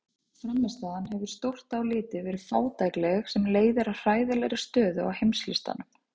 Frammistaðan hefur stórt á litið verið fátækleg sem leiðir að hræðilegri stöðu á heimslistanum.